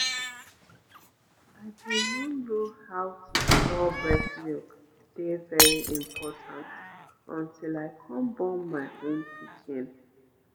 i been no know how to store breast milk dey very important untill i come born my own pikin